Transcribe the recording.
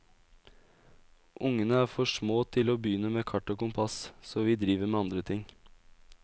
Ungene er for små til å begynne med kart og kompass, så vi driver med andre ting.